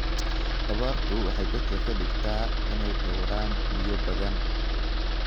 Abaartu waxay dadka ka dhigtaa inay dhawraan biyo badan.